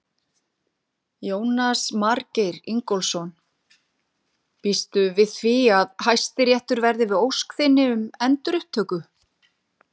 Jónas Margeir Ingólfsson: Býstu við því að Hæstiréttur verði við ósk þinni um endurupptöku?